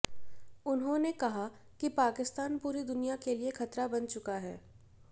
उन्होंने कहा कि पाकिस्तान पूरी दुनिया के लिए खतरा बन चुका है